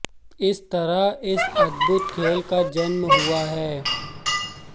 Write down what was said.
इस तरह इस अद्भुत खेल का जन्म हुआ है